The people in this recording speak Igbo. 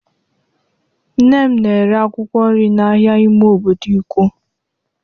Nne m na-ere akwụkwọ nri na ahịa ime obodo Ikwo.